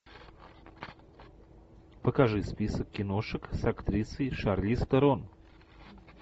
покажи список киношек с актрисой шарлиз терон